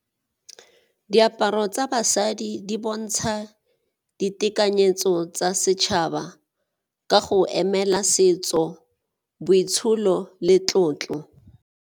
Diaparo tsa basadi di bontsha ditekanyetso tsa setšhaba ka go emela setso, boitsholo le tlotlo.